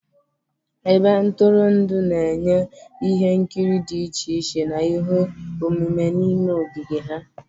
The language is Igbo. Ebe ntụrụndụ na-enye ihe nkiri dị iche iche na ihe omume n'ime ogige ha.